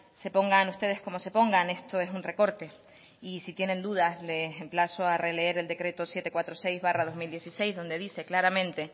se pongan usted como se pongan esto es un recorte y si tienen duda les emplazo a releer el decreto setecientos cuarenta y seis barra dos mil dieciséis donde dice claramente